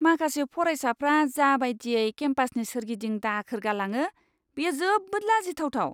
माखासे फरायसाफ्रा जा बायदियै केम्पासनि सोरगिदिं दाखोर गालाङो, बेयो जोबोद लाजिथावथाव!